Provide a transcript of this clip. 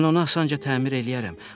Mən onu asanca təmir eləyərəm.